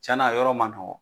Cɛna a yɔrɔ ma nɔgɔ